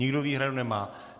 Nikdo výhradu nemá.